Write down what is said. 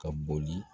Ka boli